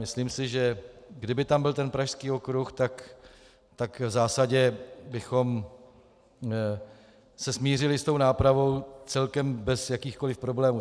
Myslím si, že kdyby tam byl ten Pražský okruh, tak v zásadě bychom se smířili s tou nápravou celkem bez jakýchkoliv problémů.